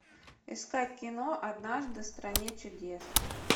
искать кино однажды в стране чудес